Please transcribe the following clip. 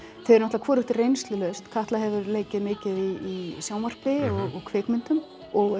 þau eru hvorugt reynslulaust Katla hefur leikið mikið í sjónvarpi og kvikmyndum og